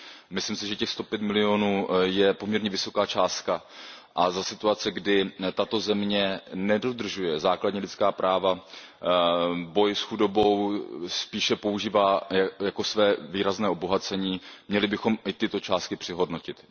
Myslím si, že těch sto pět milionů je poměrně vysoká částka a za situace, kdy tato země nedodržuje základní lidská práva a boj s chudobou spíše používá jako své výrazné obohacení, bychom měli i tyto částky přehodnotit.